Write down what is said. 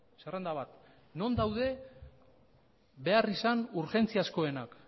zerrenda bat non daude beharrizan urgentziazkoenak